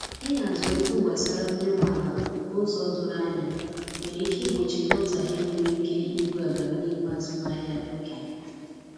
ihazi okwu gbasara onye nwe ala n'ụzọ doro anya nwere ike igbochi nghotahie nwere ike igbú agam n'ihu azụmahịa oge